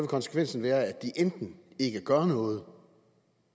konsekvensen være at de enten ikke gør noget